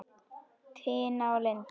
Tina og Linda.